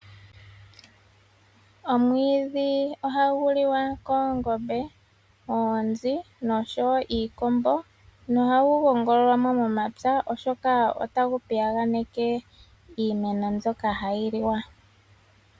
Omwiidhi ohagu liwa koongombe, oonzi noshowo iikombo. Nohagu gongololwa mo momapya, oshoka otagu piyaganeke iimeno mbyoka hayi liwa.